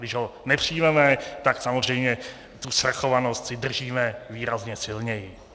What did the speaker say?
Když ho nepřijmeme, tak samozřejmě tu svrchovanost si držíme výrazně silněji.